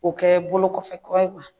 O kɛ bolo kɔfɛ kura ye wa